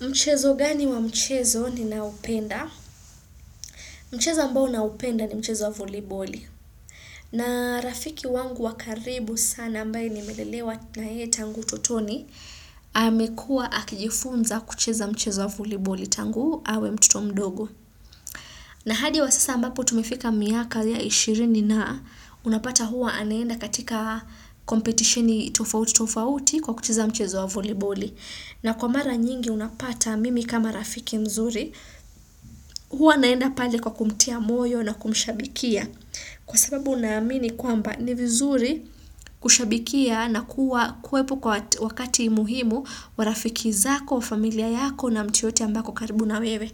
Mchezo gani wa mchezo ninaupenda? Mchezo ambao naupenda ni mchezo wa voliboli. Na rafiki wangu wakaribu sana ambae nimelelewa na ye tangu tutoni, amekua akijifunza kucheza mchezo wa voliboli tangu hawe mtoto mdogo. Na hadi wa sasa ambapu tumifika miaka liya ishirini na unapata huwa anenda katika competitioni tofauti tofauti kwa kucheza mchezo wa voliboli. Na kwa mara nyingi unapata mimi kama rafiki mzuri, huwa naenda pale kwa kumtia moyo na kumshabikia. Kwa sababu naamini kwamba ni vizuri kushabikia na kuwa kwepu kwa wakati muhimu wa rafiki zako, familia yako na mtu yoyote ambako karibu na wewe.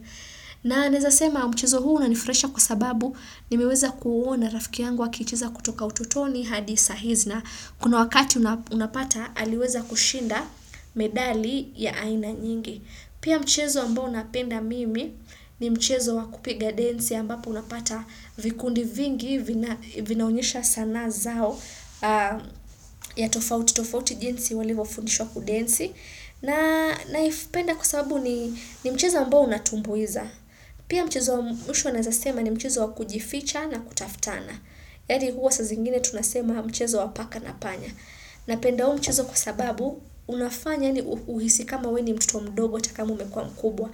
Naneza sema mchezo huu una nifuraisha kwa sababu nimeweza kuona rafiki yangu wa kicheza kutoka utotoni hadisa hisna kuna wakati unapata aliweza kushinda medali ya aina nyingi. Pia mchezo ambao unapenda mimi ni mchezo wakupiga densi ambapo unapata vikundi vingi vinaunyesha sanaa zao ya tofauti-tofauti jinsi walivo funishwa kudensi. Na ifpenda kusababu ni mchezo ambao unatumbuiza. Pia mchezo mwishu nazasema ni mchezo wakujificha na kutaftana. Yadi huo sa zingine tunasema mchezo wapaka na panya. Na penda huo mchezo kwa sababu, unafanya ni uhisi kama weni mtoto mdogo, taka ma ume kuwa mkubwa.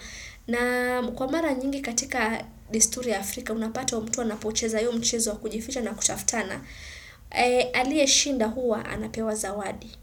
Na kwa mara nyingi katika disturi Afrika, unapata huo mtua na pocheza huo mchezo kujifija na kutaftana. Alie shinda huwa, anapewa zawadi.